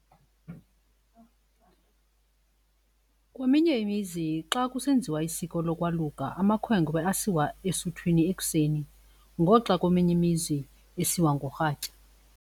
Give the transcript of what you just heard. Kweminye imizi xa kusenziwa isiko lokwaluka amakhwenkwe asiwa esuthwini ekuseni ngoxa kweminye imizi esiwa ngorhatya.